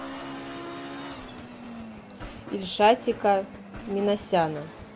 ильшатика минасяна